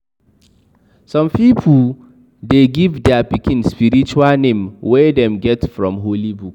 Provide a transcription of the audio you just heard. Some pipo de give their pikin spiritual name wey them get from holy book